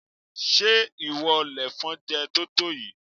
Ṣé ìwọ lèfọn jẹ totoyi?